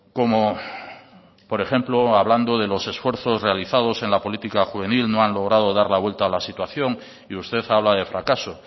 como por ejemplo hablando de los esfuerzos realizados en la política juvenil no han logrado dar la vuelta a la situación y usted habla de fracaso